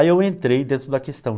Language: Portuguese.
Aí eu entrei dentro da questão.